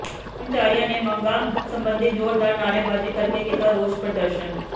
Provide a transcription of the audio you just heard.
ਕਰਮਚਾਰੀਆਂ ਨੇ ਮੰਗਾਂ ਸਬੰਧੀ ਜ਼ੋਰਦਾਰ ਨਾਅਰੇਬਾਜੀ ਕਰਕੇ ਕੀਤਾ ਰੋਸ ਪ੍ਰਦਰਸ਼ਨ